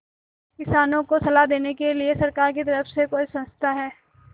किसानों को सलाह देने के लिए सरकार की तरफ से कोई संस्था है